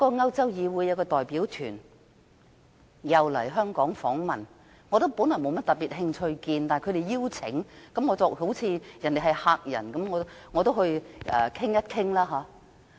歐洲議會有一個代表團來香港訪問，我本來沒有甚麼興趣與他們會面，但他們邀請了我，而他們既然是客人，我便應邀會面。